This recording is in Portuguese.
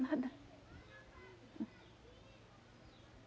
Nada. Hum.